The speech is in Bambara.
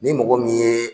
Ni mɔgɔ min ye